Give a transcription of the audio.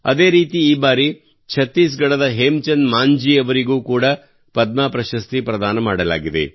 ಅದೇ ರೀತಿ ಈ ಬಾರಿ ಚತ್ತೀಸ್ ಗಢದ ಹೇಮಚಂದ್ ಮಾಂಜೀ ಅವರಿಗೆ ಕೂಡಾ ಪದ್ಮ ಪ್ರಶಸ್ತಿ ಪ್ರದಾನ ಮಾಡಲಾಗಿದೆ